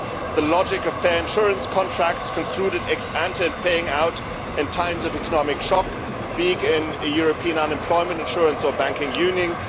the logic of fair insurance contracts concluded ex ante and paying out in times of economic shock, big European unemployment insurance or banking union